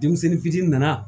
Denmisɛnnin fitiinin nana